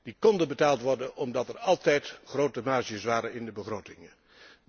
Die konden betaald worden omdat er altijd grote marges in de begrotingen waren.